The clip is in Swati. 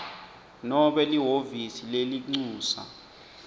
nobe lihhovisi lelincusa